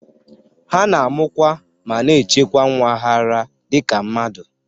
Ha na-amụkwa ma na-echekwa nwa ha ara dị ka mmadụ.